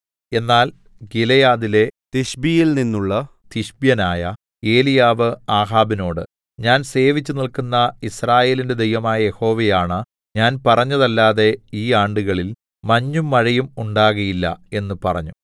എന്നാൽ ഗിലെയാദിലെ തിശ്ബിയിൽനിന്നുള്ള തിശ്ബ്യനായ ഏലീയാവ് ആഹാബിനോട് ഞാൻ സേവിച്ചുനില്ക്കുന്ന യിസ്രായേലിന്റെ ദൈവമായ യഹോവയാണ ഞാൻ പറഞ്ഞല്ലാതെ ഈയാണ്ടുകളിൽ മഞ്ഞും മഴയും ഉണ്ടാകയില്ല എന്ന് പറഞ്ഞു